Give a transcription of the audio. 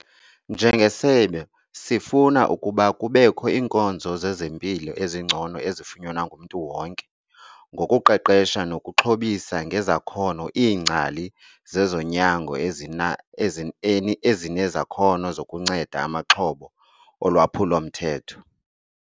"Njengesebe, sifuna ukuba kubekho iinkonzo zezempilo ezingcono ezifunyanwa ngumntu wonke ngokuqeqesha nokuxhobisa ngezakhono iingcali zezonyango ezinezakhono zokuncenda amaxhoba olwaphulo-mthetho."